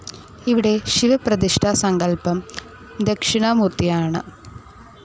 ഇവിടെ ശിവപ്രതിഷ്ഠാ സങ്കല്പം ദക്ഷിണാമൂർത്തിയാണ്.